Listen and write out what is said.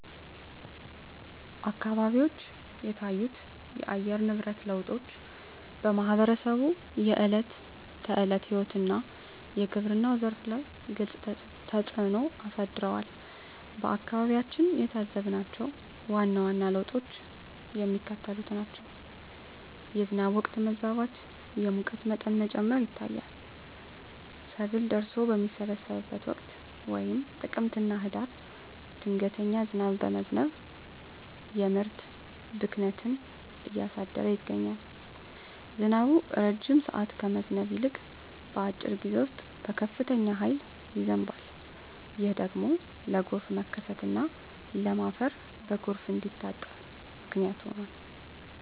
አካባቢዎች የታዩት የአየር ንብረት ለውጦች በማኅበረሰቡ የዕለት ተዕለት ሕይወትና በግብርናው ዘርፍ ላይ ግልጽ ተፅእኖ አሳድረዋል። በአካባቢያችን የታዘብናቸው ዋና ዋና ለውጦች የሚከተሉት ናቸው፦ የዝናብ ወቅት መዛባት፣ የሙቀት መጠን መጨመር ይታያል። ሰብል ደርሶ በሚሰበሰብበት ወቅት (ጥቅምትና ህዳር) ድንገተኛ ዝናብ በመዝነብ የምርት ብክነትን እያደረሰ ይገኛል። ዝናቡ ረጅም ሰዓት ከመዝነብ ይልቅ፣ በአጭር ጊዜ ውስጥ በከፍተኛ ኃይል ይዘንባል። ይህ ደግሞ ለጎርፍ መከሰትና ለም አፈር በጎርፍ እንዲታጠብ ምክንያት ሆኗል።